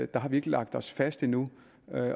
der har vi ikke lagt os fast endnu